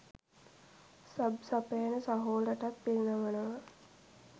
sub සපයන සහෝලටත් පිරිනමනවා